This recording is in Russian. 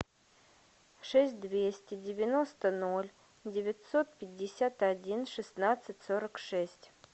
шесть двести девяносто ноль девятьсот пятьдесят один шестнадцать сорок шесть